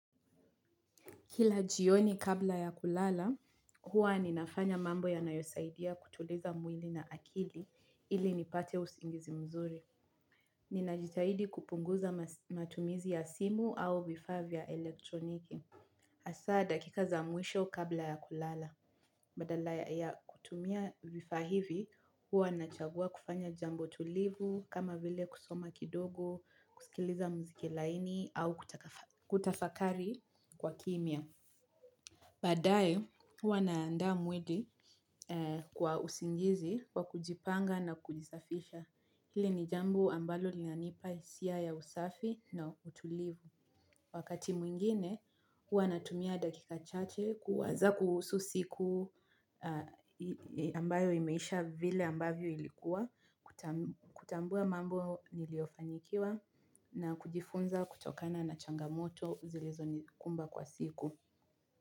Kila jioni kabla ya kulala hua ninafanya mambo yanayosaidia kutuliza mwili na akili illi nipate usingizi mzuri. Ninajitahidi kupunguza matumizi ya simu au vifaa vya elektroniki. Hasa dakika za mwisho kabla ya kulala. Badala ya kutumia vifaa hivi, huwa nachagua kufanya jambo tulivu kama vile kusoma kidogo, kusikiliza muziki laini au kutafakari kwa kimia. Baadaye, huwa naandaa mwili kwa usingizi wa kujipanga na kujisafisha. Hili ni jambo ambalo lianipa hisia ya usafi na utulivu. Wakati mwingine, huwa natumia dakika chache kuwaza kuhusu siku ambayo imeisha vile ambavyo ilikuwa, kutambua mambo niliofanyikiwa na kujifunza kutokana na changamoto zilizonikumba kwa siku.